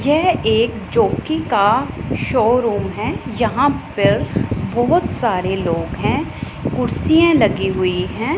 यह एक जॉकी का शोरूम है। यहां पर बहोत सारे लोग हैं कुर्सियां लगी हुई है।